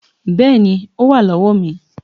Bẹ́ẹ̀ni o wá lọ́wọ́ mi